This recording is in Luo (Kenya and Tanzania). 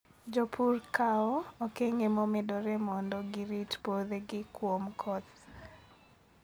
Jopur kawo okenge momedore mondo girit puothegi kuom koth.